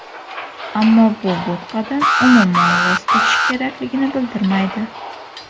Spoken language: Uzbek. Ammo bu bo‘tqadan, umuman, voz kechish kerakligini bildirmaydi.